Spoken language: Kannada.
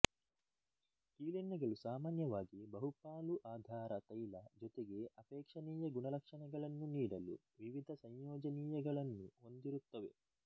ಕೀಲೆಣ್ಣೆಗಳು ಸಾಮಾನ್ಯವಾಗಿ ಬಹುಪಾಲು ಆಧಾರ ತೈಲ ಜೊತೆಗೆ ಅಪೇಕ್ಷಣೀಯ ಗುಣಲಕ್ಷಣಗಳನ್ನು ನೀಡಲು ವಿವಿಧ ಸಂಯೋಜನೀಯಗಳನ್ನು ಹೊಂದಿರುತ್ತವೆ